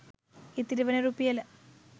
ඉතිරි වන රුපියල